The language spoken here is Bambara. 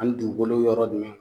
Ani dugukolo yɔrɔ jumɛn